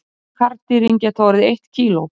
Stærstu karldýrin geta orðið eitt kíló.